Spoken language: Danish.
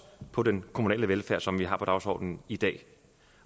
på den kommunale velfærd som vi har på dagsordenen i dag